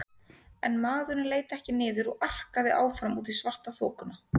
En maðurinn leit ekki niður og arkaði áfram út í svartaþokuna.